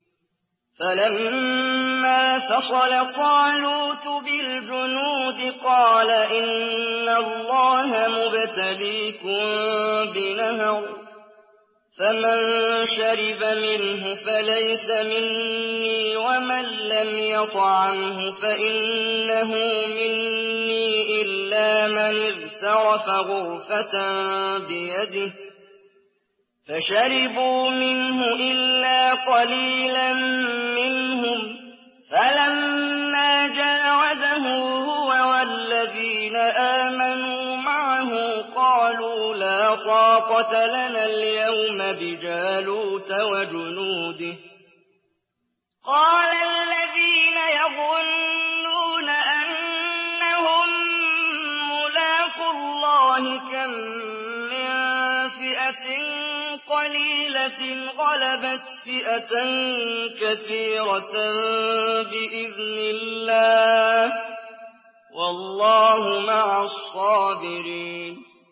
فَلَمَّا فَصَلَ طَالُوتُ بِالْجُنُودِ قَالَ إِنَّ اللَّهَ مُبْتَلِيكُم بِنَهَرٍ فَمَن شَرِبَ مِنْهُ فَلَيْسَ مِنِّي وَمَن لَّمْ يَطْعَمْهُ فَإِنَّهُ مِنِّي إِلَّا مَنِ اغْتَرَفَ غُرْفَةً بِيَدِهِ ۚ فَشَرِبُوا مِنْهُ إِلَّا قَلِيلًا مِّنْهُمْ ۚ فَلَمَّا جَاوَزَهُ هُوَ وَالَّذِينَ آمَنُوا مَعَهُ قَالُوا لَا طَاقَةَ لَنَا الْيَوْمَ بِجَالُوتَ وَجُنُودِهِ ۚ قَالَ الَّذِينَ يَظُنُّونَ أَنَّهُم مُّلَاقُو اللَّهِ كَم مِّن فِئَةٍ قَلِيلَةٍ غَلَبَتْ فِئَةً كَثِيرَةً بِإِذْنِ اللَّهِ ۗ وَاللَّهُ مَعَ الصَّابِرِينَ